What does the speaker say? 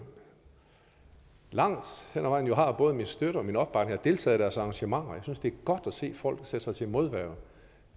langt hen ad vejen har både min støtte og min opbakning og jeg deltager i deres arrangementer jeg synes det er godt at se folk sætte sig til modværge